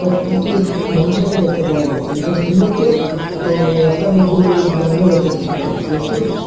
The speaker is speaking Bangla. কয়েকগুটি মোটরসাইকেল দেখতে পাওয়া যাচ্ছে একজন স্ত্রীলোককে ও রাস্তার মধ্যে ও দাঁড়ানো অবস্থায় দেখতে পাওয়া যাচ্ছে একটি --